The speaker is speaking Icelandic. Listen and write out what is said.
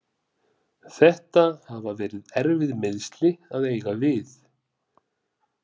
Þetta hafa verið erfið meiðsli að eiga við.